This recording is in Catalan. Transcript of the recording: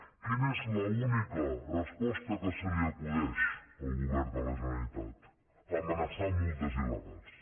quina és l’única resposta que se li acudeix al govern de la generalitat amenaçar amb multes il·legals